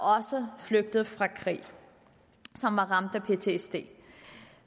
flygtet fra krig og ramt af ptsd